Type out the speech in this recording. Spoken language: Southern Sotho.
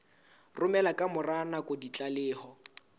romela ka mora nako ditlaleho